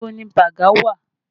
Ibo ni baga wà?